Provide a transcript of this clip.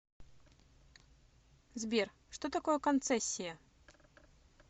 сбер что такое концессия